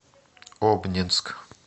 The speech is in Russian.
обнинск